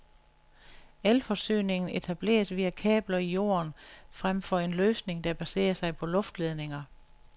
Elforsyningen etableres via kabler i jorden fremfor en løsning, der baserer sig på luftledninger.